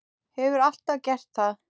Hefur alltaf gert það.